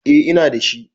Eh ina da shi.